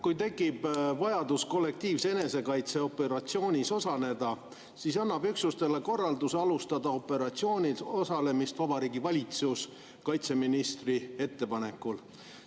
Kui tekib vajadus kollektiivse enesekaitse operatsioonis osaleda, siis annab üksusele korralduse alustada operatsioonil osalemist Vabariigi Valitsus kaitseministri ettepanekul.